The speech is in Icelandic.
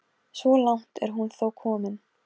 Og enn lustu Hólamenn upp sigurópi.